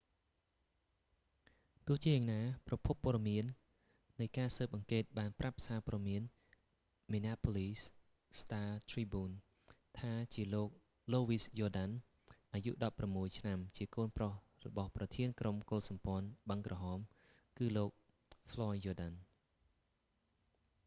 ទោះយ៉ាងណាប្រភពព័ត៌មាននៃការស៊ើបអង្កេតបានប្រាប់សាព័ត៌មាន minneapolis star-tribune ថាជាលោក លូវីស យ៉រដាន់ louis jourdain អាយុ 16 ឆ្នាំជាកូនប្រុសរបស់ប្រធានក្រុមកុលសម្ព័ន្ធបឹងក្រហម គឺលោក ហ្វ្លយ យ៉រដាន់ floyd jourdain